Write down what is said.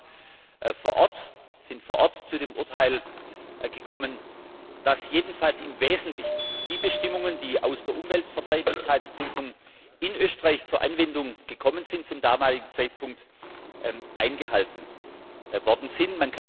Wir sind vor Ort zu dem Urteil gekommen, dass jedenfalls im Wesentlichen die Bestimmungen, die aus der Umweltverträglichkeitsprüfung in Österreich zur Anwendung gekommen sind, zum damaligen Zeitpunkt eingehalten worden sind.